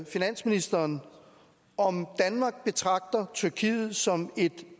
finansministeren om danmark betragter tyrkiet som et